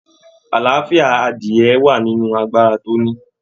Àlàáfíà adìyẹ̀ wà nínú agbára tí o ní.